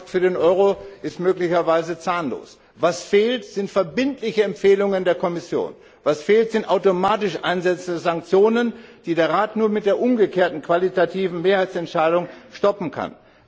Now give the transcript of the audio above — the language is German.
Der Pakt für den Euro ist möglicherweise zahnlos. Was fehlt, sind verbindliche Empfehlungen der Kommission. Was fehlt, sind automatische Ansätze, Sanktionen, die der Rat nur mit der umgekehrten qualitativen Mehrheitsentscheidung stoppen kann.